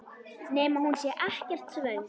Nema hún sé ekkert svöng.